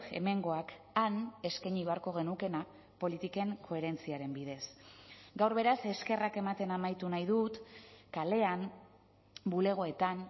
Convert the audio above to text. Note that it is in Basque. hemengoak han eskaini beharko genukeena politiken koherentziaren bidez gaur beraz eskerrak ematen amaitu nahi dut kalean bulegoetan